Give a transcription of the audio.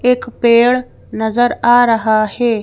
एक पेड़ नजर आ रहा हैं।